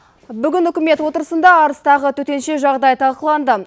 бүгін үкімет отырысында арыстағы төтенше жағдай талқыланды